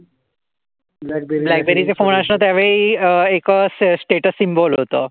Blackberry अशा त्यावेळी अ एक स्टेटस सिम्बॉल होत.